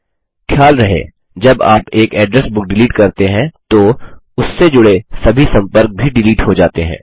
ख़याल रहे जब आप एक एड्रेस बुक डिलीट करते हैं तो उससे जुड़े सभी सम्पर्क भी डिलीट हो जाते हैं